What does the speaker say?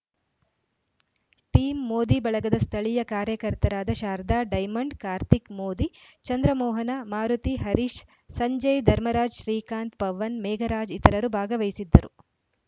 team Modi ಬಳಗದ ಸ್ಥಳೀಯ ಕಾರ್ಯಕರ್ತರಾದ ಶಾರದಾ ಡೈಮಂಡ್‌ ಕಾರ್ತಿಕ್‌ ಮೋದಿ ಚಂದ್ರಮೋಹನ ಮಾರುತಿ ಹರೀಶ್ ಸಂಜಯ್‌ ಧರ್ಮರಾಜ್‌ ಶ್ರೀಕಾಂತ್‌ ಪವನ್‌ ಮೇಘರಾಜ್ ಇತರರು ಭಾಗವಹಿಸಿದ್ದರು